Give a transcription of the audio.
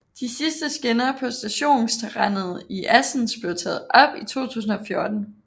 De sidste skinner på stationsterrænet i Assens blev taget op i 2014